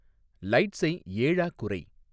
லைட்ஸை ஏழா குறை